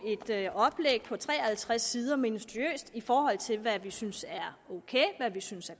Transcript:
et oplæg på tre og halvtreds sider minutiøst i forhold til hvad vi synes er ok hvad vi synes